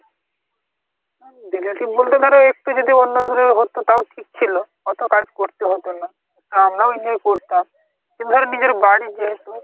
relative বলতে ধরো একটু যদি দূরের কেউ হাত তাও ঠিক ছিল অত কাজ করতে হত না আমরা ও enjoy করতাম কিন্তু ধর নিজের বাড়ির যেহেতু